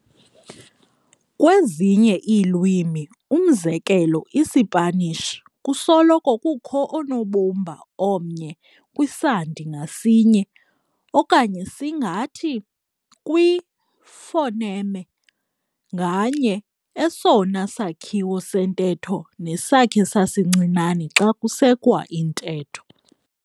Kwezinye iilwimi, umzekelo, iSipanish, kusoloko kukho unobumba omnye kwisandi ngasinye okanye singathi kwi-phoneme nganye, esona sakhiwo sentetho nesakhe sasincinane xa kusekwa intetho.